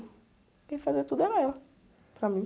Quem fazia tudo era ela, para mim.